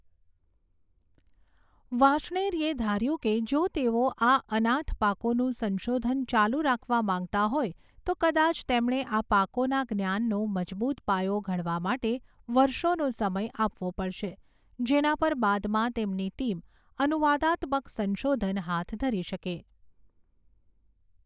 વાર્ષ્ણેયે ધાર્યું કે જો તેઓ આ 'અનાથ પાકો'નું સંશોધન ચાલુ રાખવા માંગતા હોય તો કદાચ તેમણે આ પાકોના જ્ઞાનનો મજબૂત પાયો ઘડવા માટે વર્ષોનો સમય આપવો પડશે, જેના પર બાદમાં તેમની ટીમ અનુવાદાત્મક સંશોધન હાથ ધરી શકે.